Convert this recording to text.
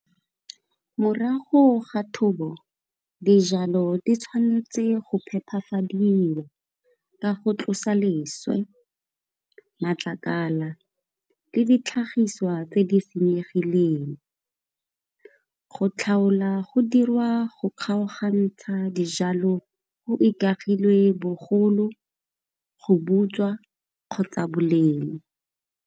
Morago ga thobo dijalo di tshwanetse go phepafadiwa ka go tlosa leswe, matlakala le ditlhagiswa tse di e senyegileng. Go tlhaola go dirwa go kgaogantsha dijalo go ikagilwe bogolo, go butswa kgotsa boleng.